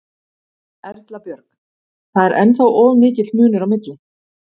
Erla Björg: Það er ennþá of mikill munur á milli?